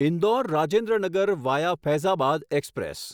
Indore Rajendra Nagar via Faizabad express